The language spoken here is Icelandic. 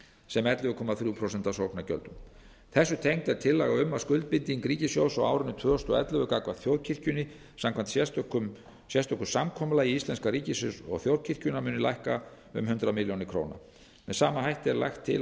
sem ellefu komma þrjú prósent af sóknargjöldum þessu tengt er tillaga um að skuldbinding ríkissjóðs á árinu tvö þúsund og ellefu gagnvart þjóðkirkjunni samkvæmt sérstöku samkomulagi íslenska ríkisins og þjóðkirkjunnar muni lækka um hundrað milljónir króna með sama hætti er lagt til